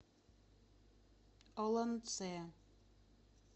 олонце